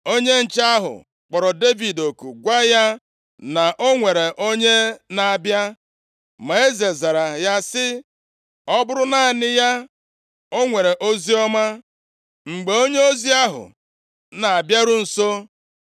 Onye nche ahụ kpọrọ Devid oku gwa ya na o nwere onye na-abịa. Ma eze zara ya sị, “Ọ bụrụ naanị ya, o nwere oziọma.” Mgbe onyeozi ahụ na-abịaru nso,